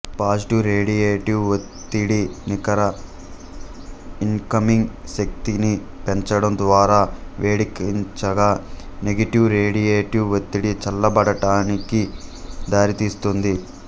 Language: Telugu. పాజిటివ్ రేడియేటివ్ వత్తిడి నికర ఇన్కమింగ్ శక్తిని పెంచడం ద్వారా వేడెక్కించగా నెగటివ్ రేడియేటివ్ వత్తిడి చల్లబడడానికి దారితీస్తుంది